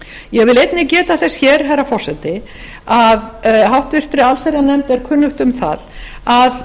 ég vil einnig geta þess hér herra forseti að háttvirta allsherjarnefnd er kunnugt um það að